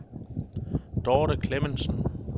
Dorte Clemmensen